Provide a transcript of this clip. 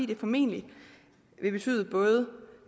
det formentlig betyde